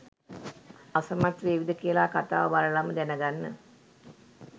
අසමත් වේවිද කියලා කතාව බලලම දැනගන්න.